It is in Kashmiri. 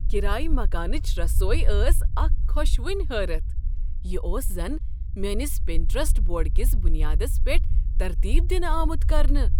کرایہ مکانٕچہِ رسویہ ٲس اکھ خوشوٕنۍ حٲرتھ ۔ یہ اوس زن میٲنس پنٹیرسٹ بورڈ کس بنیادس پیٹھ ترتیب دِنہٕ آمت کرنہٕ۔! "